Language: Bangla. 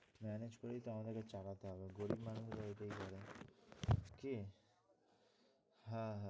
হ্যাঁ manage করেই তো আমাদেরকে চালতে হবে। গরীব মানুষরা এইটাই করে কী?